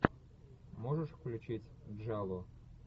можешь включить джалло